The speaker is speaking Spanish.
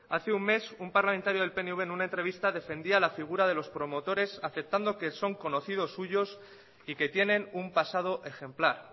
hace un mes un parlamentario del pnv en una entrevista defendía la figura de los promotores aceptando que son conocidos suyos y que tienen un pasado ejemplar